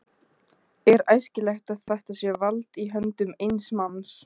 Er æskilegt að þetta vald sé í höndum eins manns?